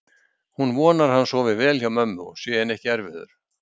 Hún vonar að hann sofi vel hjá mömmu og sé henni ekki erfiður.